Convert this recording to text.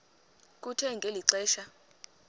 kuthe ngeli xesha